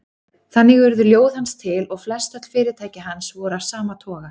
Þannig urðu ljóð hans til og flestöll fyrirtæki hans voru af sama toga.